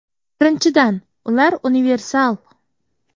Birinchidan, ular universal.